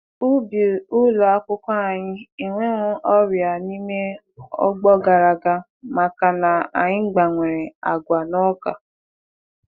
Ọrịa lara n'ubi ulọakwụkwọ anyị na tam gara aga maka na anyị tụgharịrị akụmakụ àgwà na ọka.